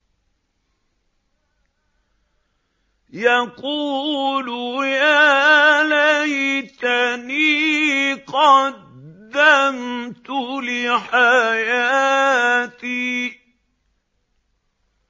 يَقُولُ يَا لَيْتَنِي قَدَّمْتُ لِحَيَاتِي